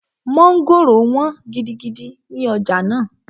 Mọ́ngòrò wọ́n gidigidi ní ọjà náà